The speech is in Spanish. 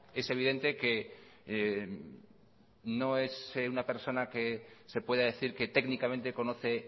es evidente que no es una persona que se pueda decir que técnicamente conoce